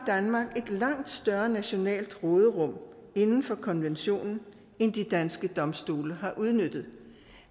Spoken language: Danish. langt større nationalt råderum inden for konventionen end de danske domstole har udnyttet